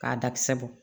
K'a dakisɛ bɔ